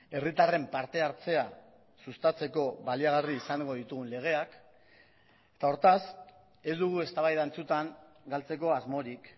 herritarren parte hartzea sustatzeko baliagarri izango ditugun legeak eta hortaz ez dugu eztabaida antzutan galtzeko asmorik